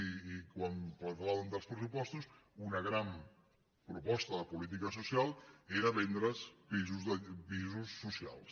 i quan parlàvem dels pressupostos una gran proposta de política social era vendre’s pisos socials